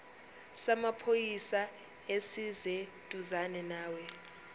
samaphoyisa esiseduzane nawe